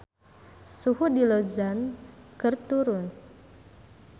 Suhu di Luzon keur turun